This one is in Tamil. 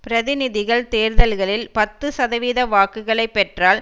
பிரதிநிதிகள் தேர்தல்களில் பத்து சதவீத வாக்குகளை பெற்றால்